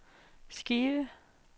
skive